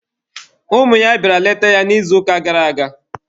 Ụmụ ya bịara leta ya n'izuụka gara aga.